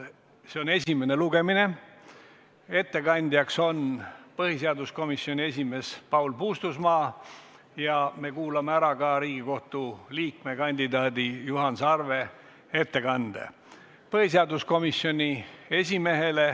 See on esimene lugemine, ettekandja on põhiseaduskomisjoni esimees Paul Puustusmaa ja me kuulame ära ka Riigikohtu liikme kandidaadi Juhan Sarve ettekande.